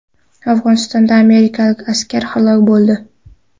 Afg‘onistonda amerikalik askar halok bo‘ldi.